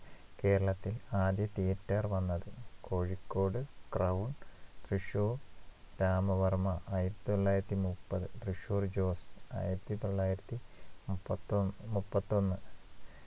കേരളത്തിൽ ആദ്യ theatre വന്നത് കോഴിക്കോട് Crown തൃശൂർ രാമവർമ ആയിരത്തിതൊള്ളായിരത്തിമുപ്പത് തൃശൂർ ജോസ് ആയിരത്തിതൊള്ളായിരത്തിമുപ്പത്തൊ മുപ്പത്തൊന്ന്